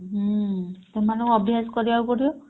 ହୁଁ ସେମାନଙ୍କୁ ଅଭ୍ୟାସ କରିବାକୁ ପଡିବ।